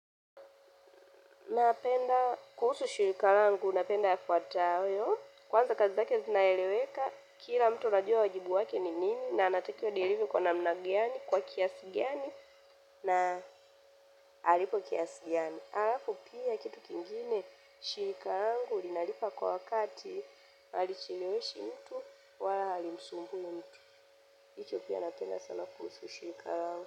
Napenda kuhusu shirika langu napenda yafuatayo kwanza kazi zake zinaeleweka kila mtu anajua wajibu wake ni nini na anatakiwa adelive kwa namna gani kwa kiasi gani na alipwe kiasi gani alapu pia kitu kingine, shirika langu linalipa kwa wakati alicheleweshi mtu, wala halimsumbui mtu. Hicho pia napenda sana kuhusu shirika langu.